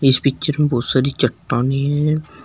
इस पिक्चर में बहुत सारी चट्टानें है।